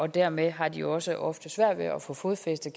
dermed har de også ofte svært ved at få fodfæste